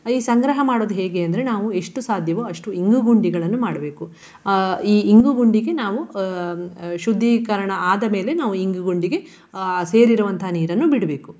ಈ ಸಂಗ್ರಹ ಮಾಡುದು ಹೇಗೆ ಅಂದ್ರೆ ನಾವು ಎಷ್ಟು ಸಾಧ್ಯವೋ ಅಷ್ಟು ಇಂಗುಗುಂಡಿಗಳನ್ನು ಮಾಡ್ಬೇಕು. ಅಹ್ ಈ ಇಂಗುಗುಂಡಿಗೆ ನಾವು ಅಹ್ ಶುದ್ದೀಕರಣ ಆದ ಮೇಲೆ ನಾವು ಇಂಗುಗುಂಡಿಗೆ ಅಹ್ ಸೇರಿರುವಂತಹ ನೀರನ್ನು ಬಿಡ್ಬೇಕು.